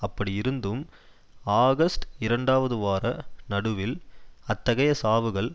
அப்படி இருந்தும் ஆகஸ்ட் இரண்டாவது வார நடுவில் அத்தகைய சாவுகள்